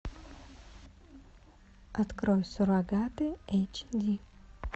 открой суррогаты эйч ди